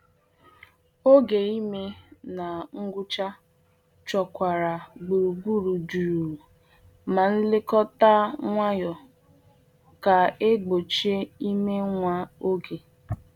Oge ime na ngwụcha chọkwara gburugburu jụụ na nlekọta nwayọ ka e gbochie ime nwa oge.